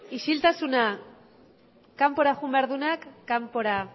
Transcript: isiltasuna kanpora joan behar duenak kanpora